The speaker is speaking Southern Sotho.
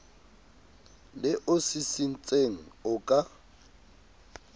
le o sisintseng o ka